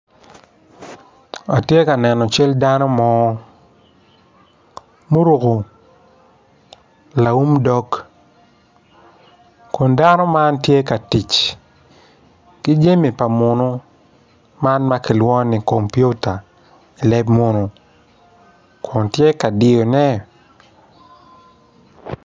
Man kono tye poto anyogi, anyogi man kono odongo mabeco adada pot anyogi man kono tye rangi ma alum alum anyogi miyo itwa cam i yo mapol maclo moko. Anyogi bene ka kibulu bene ki mwodo amwoda.